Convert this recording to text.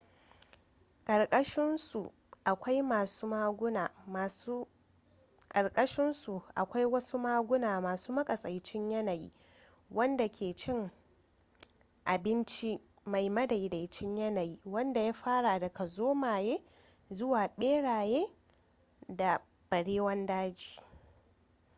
karkashin su akwai wasu maguna masu matsakaicin yanayi wadanda ke cin abinci mai madaidaicin yanayi wanda ya fara daga zomaye zuwa barewa da barewan daji